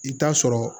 I bɛ taa sɔrɔ